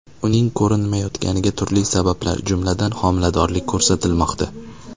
Uning ko‘rinmayotganiga turli sabablar, jumladan, homiladorlik ko‘rsatilmoqda.